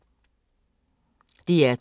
DR2